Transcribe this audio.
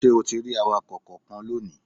Ṣé o ti rí awakọ̀ kankan lónìí?